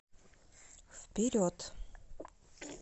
вперед